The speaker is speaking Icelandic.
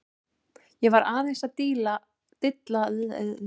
Ég var aðeins að dilla með einum en það var bara stutt.